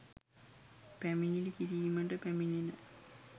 පැමිණිලි කිරීමට පැමිණෙන